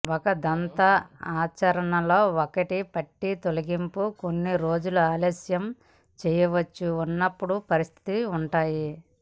ఒక దంత ఆచరణలో ఒక పంటి తొలగింపు కొన్ని రోజులు ఆలస్యం చేయవచ్చు ఉన్నప్పుడు పరిస్థితులు ఉంటాయి